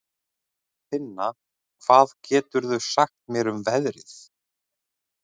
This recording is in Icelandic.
Finna, hvað geturðu sagt mér um veðrið?